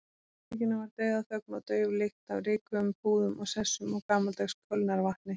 Í herberginu var dauðaþögn og dauf lykt af rykugum púðum og sessum og gamaldags kölnarvatni.